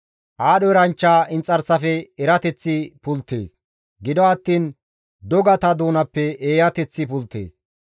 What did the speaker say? Aadho eranchcha inxarsafe erateththi pulttees; gido attiin dogata doonappe eeyateththi pulttees.